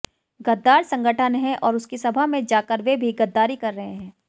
गद्दार संगठन है और उसकी सभा में जाकर वे भी गद्दारी कर रहे हैं